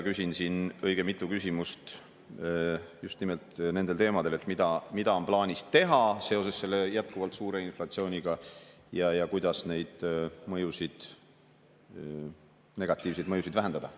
Küsin siin õige mitu küsimust just nimelt nendel teemadel, et mida on plaanis teha seoses jätkuvalt suure inflatsiooniga ja kuidas neid negatiivseid mõjusid vähendada.